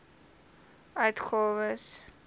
uitgawes ten bedrae